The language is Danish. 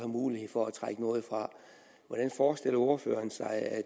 mulighed for at trække noget fra forestiller ordføreren sig at